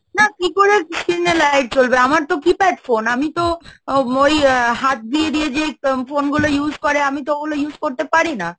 না কি করে screen এ Light জ্বলবে, আমার তো Keypad phone, আমি তো ওই হাত দিয়ে দিয়ে যেই phone গুলো use করে আমি তো ওগুলো use করতে পারি না।